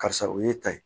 Karisa o ye ta ye